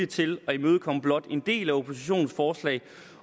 til at imødekomme blot en del af oppositionens forslag